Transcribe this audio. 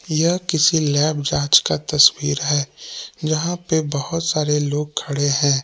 यह किसी लैब जांच का तस्वीर है जहां पे बहोत सारे लोग खड़े हैं।